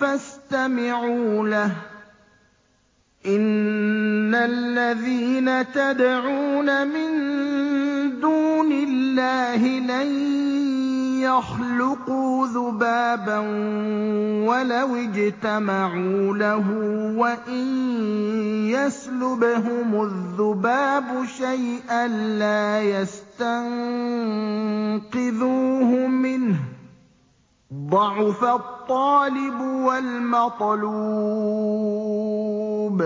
فَاسْتَمِعُوا لَهُ ۚ إِنَّ الَّذِينَ تَدْعُونَ مِن دُونِ اللَّهِ لَن يَخْلُقُوا ذُبَابًا وَلَوِ اجْتَمَعُوا لَهُ ۖ وَإِن يَسْلُبْهُمُ الذُّبَابُ شَيْئًا لَّا يَسْتَنقِذُوهُ مِنْهُ ۚ ضَعُفَ الطَّالِبُ وَالْمَطْلُوبُ